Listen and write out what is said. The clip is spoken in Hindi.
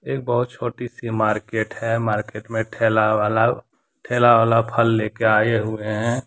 एक बहुत छोटी सी मार्केट है मार्केट में ठेला वाला ठेला वाला फल ले के आए हुए हैं।